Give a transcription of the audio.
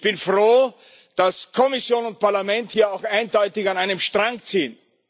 Ich bin froh, dass Kommission und Parlament hier auch eindeutig an einem Strang ziehen.